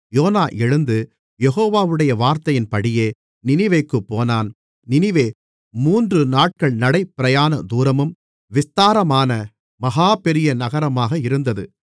YONO எழுந்து யெகோவாவுடைய வார்த்தையின்படியே நினிவேக்குப் போனான் நினிவே மூன்று நாட்கள் நடை பிரயாண தூரமும் விஸ்தாரமான மகா பெரிய நகரமாக இருந்தது